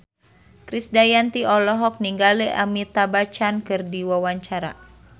Krisdayanti olohok ningali Amitabh Bachchan keur diwawancara